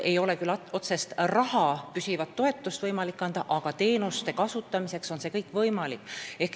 Ei ole küll võimalik anda otsest püsivat toetust, aga teenuste kasutamiseks on võimalik seda raha saada.